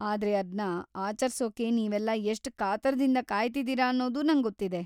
ಆದ್ರೆ ಅದ್ನ ಆಚರ್ಸೋಕೆ ನೀವೆಲ್ಲಾ ಎಷ್ಟ್‌ ಕಾತರದಿಂದ ಕಾಯ್ತಿದೀರ ಅನ್ನೋದೂ ನಂಗೊತ್ತಿದೆ.